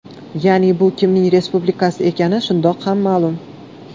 Ya’ni bu kimning respublikasi ekani shundoq ham ma’lum.